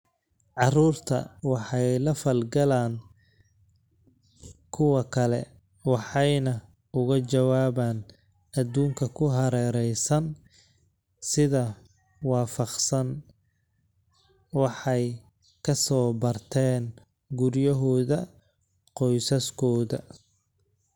Carruurtu waxay la falgalaan kuwa kale waxayna uga jawaabaan adduunka ku hareeraysan sida waafaqsan waxay ka soo barteen guryahooda qoysaskooda.